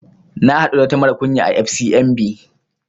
Na haɗu da wata mara kunya à FCMB